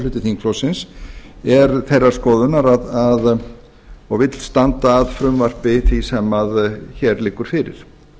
hluti þingflokksins er þeirrar skoðunar að og vill standa að frumvarpi því sem hér liggur fyrir